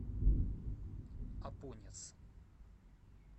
апонец